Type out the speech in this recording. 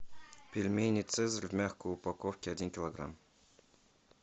пельмени цезарь в мягкой упаковке один килограмм